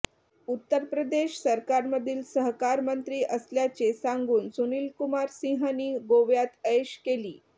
उत्तर प्रदेश सरकारमधील सहकार मंत्री असल्याचे सांगून सुनील कुमार सिंहने गोव्यात ऐश केली